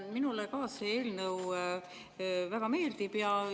Ka minule see eelnõu väga meeldib.